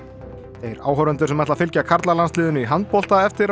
þeir áhorfendur sem ætla að fylgja karlalandsliðinu í handbolta eftir á